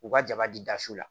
U ka jaba di dasu la